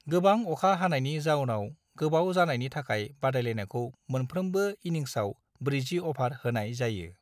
गोबां अखा हानायनि जाउनाव गोबाव जानायनि थाखाय बादायलायनायखौ मोनफ्रोमबो इनिंसआव 40 अभार होनाय जायो।